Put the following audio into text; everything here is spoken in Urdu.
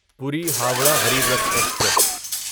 پوری ہورہ غریب رتھ ایکسپریس